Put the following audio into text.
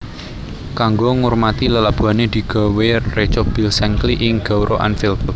Kanggo ngurmati lelabuhané digawé reca Bill Shankly ing gaoura Anfield